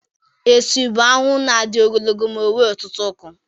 Esu bụ ahụhụ na-adị ogologo ma nwee ọtụtụ ụkwụ.